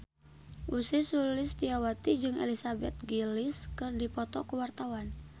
Ussy Sulistyawati jeung Elizabeth Gillies keur dipoto ku wartawan